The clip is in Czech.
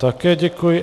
Také děkuji.